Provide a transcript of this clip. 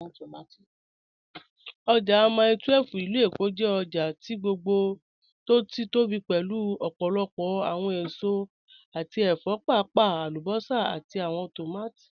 Ojá Mílè 12 (ilù Èkó) jẹ́ ọ̀jà tó gbogbo tó bí pọ̀ pẹ̀lú ọ̀pọ̀lọ̀pọ̀ awọn èsò àti ẹ̀fọ̀, páàpàá alúbọ́sà àti awọn tómátí